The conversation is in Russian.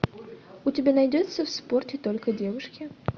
у тебя найдется в спорте только девушки